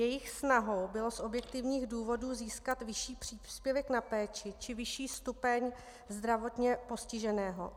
Jejich snahou bylo z objektivních důvodů získat vyšší příspěvek na péči či vyšší stupeň zdravotně postiženého.